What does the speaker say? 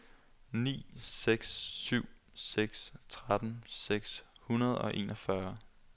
ni seks syv seks tretten seks hundrede og enogfyrre